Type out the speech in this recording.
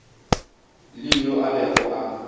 le yo a bego a